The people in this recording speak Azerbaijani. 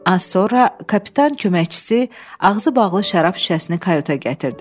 Az sonra kapitan köməkçisi ağzı bağlı şərab şüşəsini kayuta gətirdi.